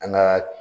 An ka